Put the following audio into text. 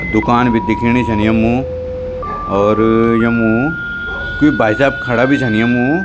दुकान बि दिखेणी छन यम्मु और यम्मू क्वि भाई साहब खड़ा बि छन यम्मू।